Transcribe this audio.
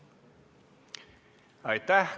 Aitäh!